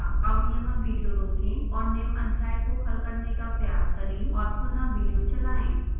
अब यहाँ विडियो रोकें और निम्न अध्याय को हल करने का प्रयास करें और पुनः विडियो चलाएं